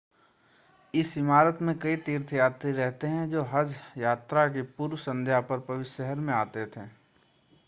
इस इमारत में कई तीर्थयात्री रहते थे जो हज यात्रा की पूर्व संध्या पर पवित्र शहर में आते थे